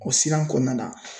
O siran kɔnɔna na